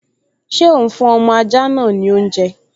Ṣé òún fún ọmọ ajá náà ní oúnjẹ?